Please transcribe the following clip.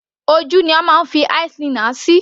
Ojú ni a máa ń fi eye - linear sí.